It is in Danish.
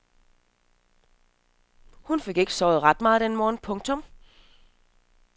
Hun fik nok ikke sovet ret meget den morgen. punktum